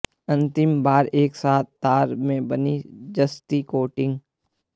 अंतिम बार एक साथ तार से बना जस्ती कोटिंग